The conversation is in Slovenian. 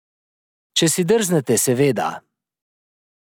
Če si drznete, seveda ...